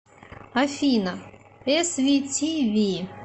афина эс ви ти ви